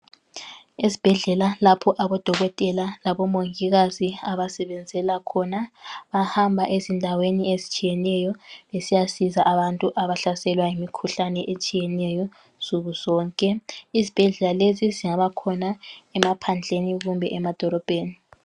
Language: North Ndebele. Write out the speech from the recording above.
Esibhedlela lapho abodokotela labomongikazi abasebenzela khona bahamba ezindaweni ezitshiyeneyo besiyasiza abantu abahlaselwa yimikhuhlane etshiyeneyo nsuku zonke. Izibhedlela lesi singabakhona emaphandleni kumbe emadolobheni.